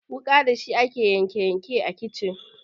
Wuƙa dashi ake yanke yanke a kicin.